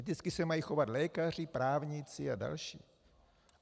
Eticky se mají chovat lékaři, právníci a další.